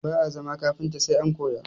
Ba'a zama kafinta sai an koya